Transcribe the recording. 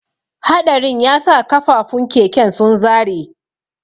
Haɗarin yasa kafafun keken sun zare.